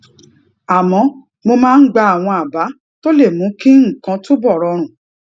àmó mo máa ń gba àwọn àbá tó lè mú kí nǹkan túbò rọrùn